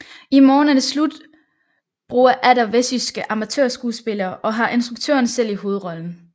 I morgen er det slut bruger atter vestjyske amatørskuespillere og har instruktøren selv i hovedrollen